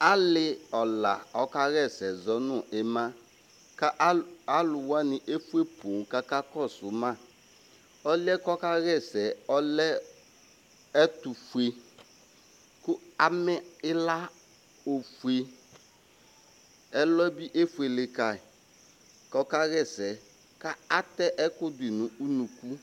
Alɩɔla ɔkaɣa ɛsɛ zɔ nʋ ɩma kʋ al alʋ wanɩ efue poo kʋ akakɔsʋ ma Ɔlʋ yɛ kʋ ɔkaɣa ɛsɛ yɛ, ɔlɛ ɛtʋfue kʋ amɛ ɩla ofue Ɛlɔ yɛ bɩ efuele ka yɩ kʋ ɔkaɣa ɛsɛ kʋ atɛ ɛkʋ dʋ yɩ nʋ unuku